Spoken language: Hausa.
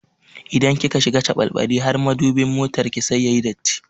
Idan kika shiga caɓalɓali har matubin motarki sai yayi datti.